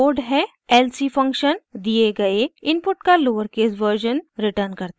lc function दिए गए input का लोअरकेस वर्जन रिटर्न करता है